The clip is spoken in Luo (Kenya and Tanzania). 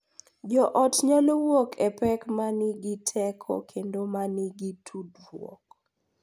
Jo ot nyalo wuok e pek ma nigi teko kendo ma nigi tudruok,